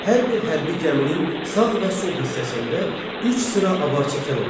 Hər bir hərbi gəminin sağ və sol hissəsində üç sıra avarçəkən olurdu.